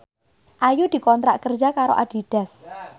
Ayu dikontrak kerja karo Adidas